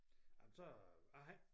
Jamen så jeg har ikke